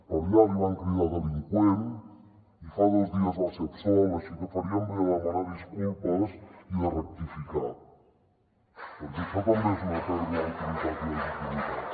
per allà li van cridar delinqüent i fa dos dies va ser absolt així que farien bé de demanar disculpes i de rectificar perquè això també és una pèrdua d’autoritat i legitimitat